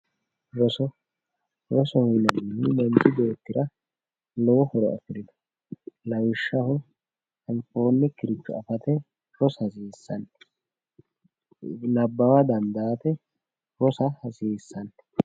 Roso, rosoho yinannihu manchu beettira lowo horo afirino lawishshaho anfonikkiricho affate rosa hasiisano ,nabbawa dandaate rosa hasiisano.